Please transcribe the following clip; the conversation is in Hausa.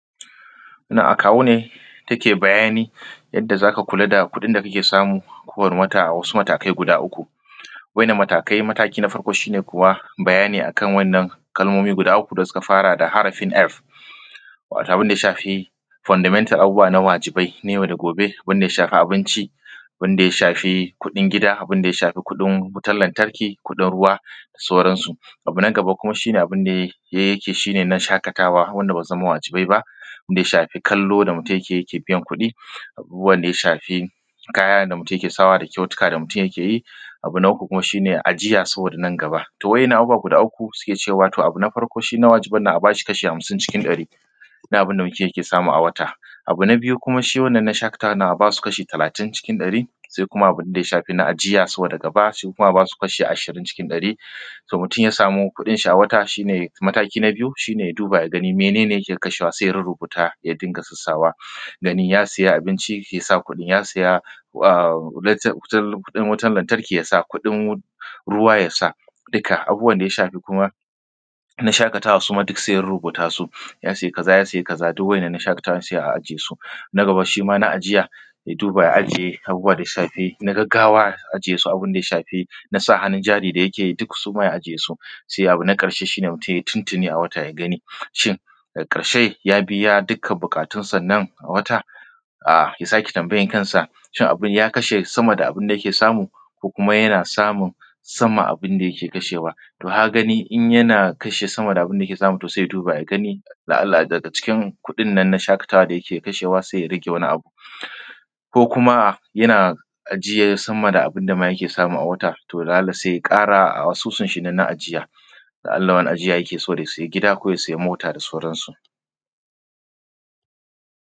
Wannan a kawune take bayani akan yadda zaka kula da kuɗin da kake samu a ko wani wata a matakai guda uku. Wa ‘yan’nan matakai mataki na farko shine kuwa bayani akan wannan kalmomi guda uku da suka fara da harafin F wato wanda ya shafi fundamental abubuwa na wajibai ne yau da kullum, wanda ya shafi abinci, wanda ya shafi kuɗin gida, wanda ya shafi kuɗin lantarki, kuɗin ruwa da sauran su. Abu na gaba kuma abunda yake na shaƙatawa wanda basu zama wajibai ba, shine na ya shafi kallo da mutun yakeyi yake biyan kuɗi abu uwan da shafi kaya da kyautuka da mutun yakeyi. Abu na uku kuma shine ajiya saboda nan gaba to wa ‘yan’ nan abubuwaguda uku suke cewa to abu na farko shina wajibannan a bashi kasha hamsin na abunda mutun yake samu a wata. Abu na biyu wannan shaƙatawannan a basu kasha talatin cikin ɗari. Sai kuma abunda ya shafi ajiya saboda gabasu kuma abasu kasha ashirin cikin ɗari. Ta mutun ya sami kuɗinshi a wata mataki na biyu shine ya duba yagani menene yake kashawa sai ya rurrubuta ya dinga sassawa ganin ya siya abinci yasa kuɗin, ya siya a kuɗin wutan lantarki yasa, kuɗin ruwa yasa duka abubuwan da yashafi kuma na shaƙatawa duk saiya rurrubuta su ya siya kaza, ya siya kazaduk waɗannan na shakatawan sai a ajesu. Na gaba shima na ajiya aduba ajiye abubuwa daya shafi na gaggawa ya ajiye su, abunda ya shafi nasa hannun jari da yakeyi suma ya aje na ƙarshe shine mutun yai tuntuntuni a wata yagani shin ya biya duk buƙatun sannan a wata ya sake tambayan kansa shin abun ya kasha sama da abunda yake samu? Ko Kuma yana samun sama da abunda yake samu? Ko kuma yana samun sama da abunda yake kashewa? To kagani in yana kasha sama da abunda yake samu sai ya duba da Allah daga cikin kuɗin nan da yake kashewa na shaƙatawa saiya rage wani abu. Ko kuma yana ajiye sama abunda ma yake samu a wata? To dan haka saiya ƙara asusun nashi na ajiya. Ya Allah wani ajiyan yakeyi yake so yasai gida ko ya sai mota da sauran su.